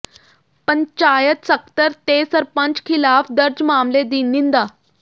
ਪੰਚਾਇਤ ਸਕੱਤਰ ਤੇ ਸਰਪੰਚ ਖ਼ਿਲਾਫ਼ ਦਰਜ ਮਾਮਲੇ ਦੀ ਨਿੰਦਾ